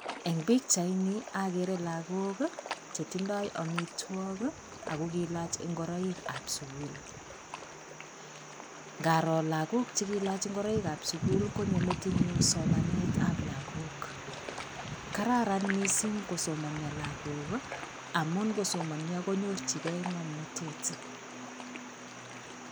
Eng pichaini agere lagook che tindoi amitwokik ako kiilach ngoroikab sukul. Ngaroo lagook che kiilach ngoroikab sukul konyo metinyun somanetab lagook. Kararan mising kosomanio lagook amuun ngosomanio konyorjigei ng'omnatet.